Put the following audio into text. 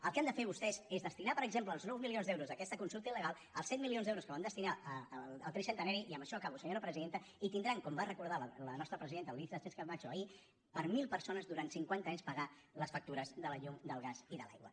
el que han de fer vostès és destinar per exemple els nou milions d’euros d’aquesta consulta ilque van destinar al tricentenari i amb això acabo senyora presidenta i tindran com va recordar la nostra presidenta alícia sánchezcamacho ahir per a mil persones durant cinquanta anys pagar les factures de la llum del gas i de l’aigua